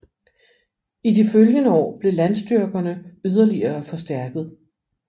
I de følgende år blev landstyrkerne yderligere forstærket